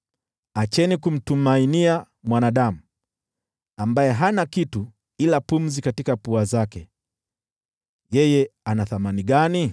Acheni kumtumainia mwanadamu, ambaye hana kitu ila pumzi katika pua zake. Yeye ana thamani gani?